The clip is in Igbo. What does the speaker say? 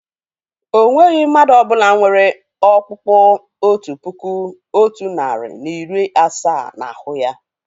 Ọ nweghị mmadụ ọ bụla nwere ọ̀kpụ́kpu otu puku, otu narị na iri asaa n'ahu ya.